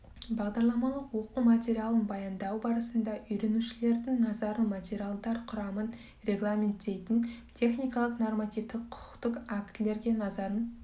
бағдарламалық оқу материалын баяндау барысында үйренушілердің назарын материалдар құрамын регламенттейтін техникалық нормативтік құқықтық актілерге назарын